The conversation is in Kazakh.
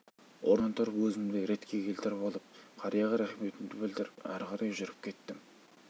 орнымнан тұрып өзімді ретке келтіріп алып қарияға рахметімді білдіріп ары қарай жүріп кеттім